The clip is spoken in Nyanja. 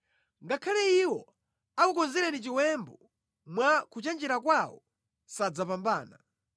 Ngakhale iwo akukonzereni chiwembu mwa kuchenjera kwawo sadzapambana;